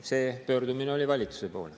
See pöördumine oli valitsuse poole.